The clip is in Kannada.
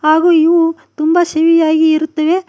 ಹಾಗು ಇವು ತುಂಬ ಸಿಹಿಯಾಗಿ ಇರುತ್ತವೆ.